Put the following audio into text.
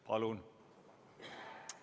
Palun!